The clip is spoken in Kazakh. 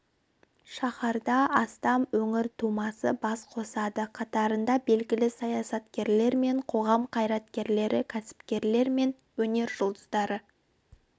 шаһарда астам өңір тумасы бас қосады қатарында белгілі саясаткерлер мен қоғам қайраткерлері кәсіпкерлер мен өнер жұлдыздары